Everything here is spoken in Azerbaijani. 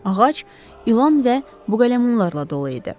Ağac ilan və buqələmunlarla dolu idi.